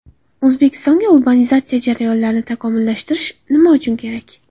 O‘zbekistonga urbanizatsiya jarayonlarini takomillashtirish nima uchun kerak?